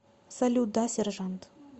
салют да сержант